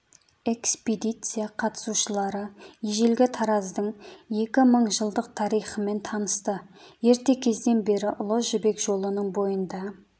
экспедиция қатысушылары ежелгі тараздың екі мың жылдық тарихымен танысты ерте кезден бері ұлы жібек жолының бойында